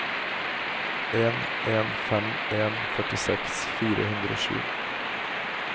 en en fem en førtiseks fire hundre og sju